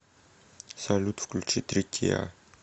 салют включи тритиа